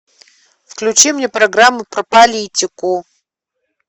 включи мне программу про политику